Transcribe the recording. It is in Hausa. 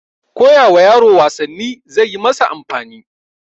koyawa yaro wasanni zaiyi masa amfani